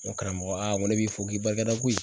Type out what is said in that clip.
N ko karamɔgɔ n ko ne b'i fo k'i barika da koyi.